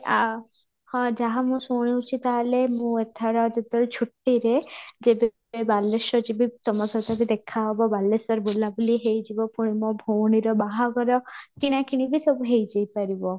ଆଃ ହଁ ଯାହା ମୁଁ ଶୁଣୁଛି ତାହେଲେ ମୁଁ ଏଥର ଯେତେବେଳେ ଛୁଟିରେ ଯେବେ ବାଲେଶ୍ୱର ଯିବି ତମ ସହିତ ବି ଦେଖା ହେବ ବାଲେଶ୍ୱର ବୁଲା ବୁଲି ହେଇ ଯିବ ପୁଣି ମୋ ଭଉଣୀର ବାହାଘର କିଣାକିଣି ବି ସବୁ ହେଇ ଯାଇ ପାରିବ